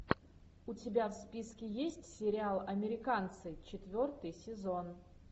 у тебя в списке есть сериал американцы четвертый сезон